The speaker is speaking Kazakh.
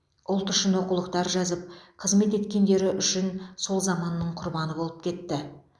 ұлт үшін оқулықтар жазып қызмет еткендері үшін сол заманның құрбаны болып кетті